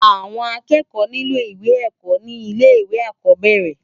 Awòn ákèékò nilò iwé èkò ni ilè iwé ákòbèrè